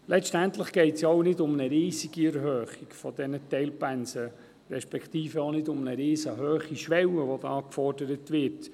Letztendlich geht es ja auch nicht um eine riesige Erhöhung dieser Teilpensen, respektive auch nicht um eine riesenhohe Schwelle, die da gefordert wird.